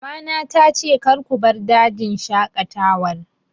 Mama na ta ce 'Kar ku bar dajin shaƙatawar